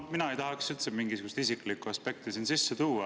No mina ei tahaks üldse mingisugust isiklikku aspekti siin sisse tuua.